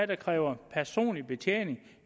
der kræver personlig betjening